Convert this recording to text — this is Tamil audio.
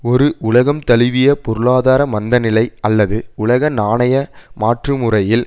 ஒரு உலகம் தழுவிய பொருளாதார மந்தநிலை அல்லது உலக நாணய மாற்று முறையில்